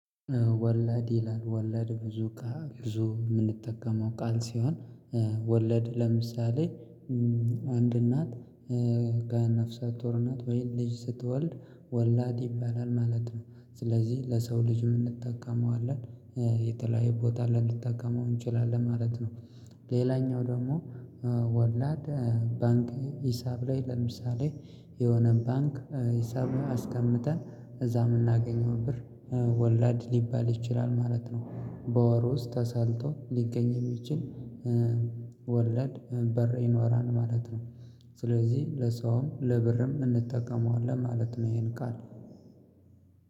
ወለድ ይላል ወለድ ብዙ ብዙ የምንጠቀመው ቃል ሲሆን ወለድ ለምሳሌ አንድ እናት ጋና ፍሰት ወርናት ወይን ልጅ ስትወልድ ወላድ ይባላል ማለት ነው ስለዚህ ለሰው ልጅ የምንጠቀመዋለን የተለያየ ቦታ ልንጠቀመው እንችላለን ማለት ነው። ሌላኛው ደግሞ ወላድ ባንክ ሂሳብ ላይ ለምሳሌ የሆነ ባንክ ሂሳብ አስቀምጠን እዛ የምናገኘው ብር ወለድ ሊባል ይችላል ማለት ነው። በወሩ ውስጥ ተሰልቶ ሊገኝ የሚችል ወለድ በር ይኖራል ማለት ነው። ስለዚህ ለሰውም ለብርም እንጠቀመዋለን ማለት ነው ይሄን ቃል።